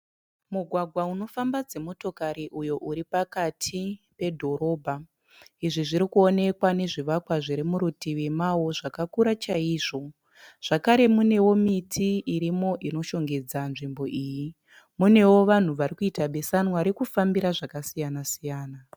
Mugwgwa unofamba dzimotokari uyo uri pakati pedhorobha. Izvo zvinoo ekwa nezvivakwa zviri murutivi mawo zvakakura chaizvo. Zvakare munewo miti irimo inoshongedza nzvimbo iyi. Munewo vanhu vari kuita besanwa varikufambira zvakasiya-siyana.